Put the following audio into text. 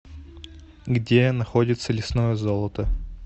где находится лесное золото